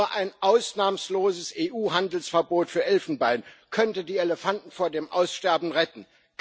Nur ein ausnahmsloses EU Handelsverbot für Elfenbein könnte die Elefanten vor dem Aussterben retten.